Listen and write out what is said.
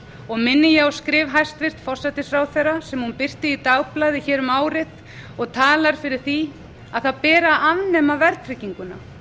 og minni ég á skrif hæstvirtur forsætisráðherra sem hún birti í dagblaði hér um árið og talar fyrir því að það beri að afnema verðtrygginguna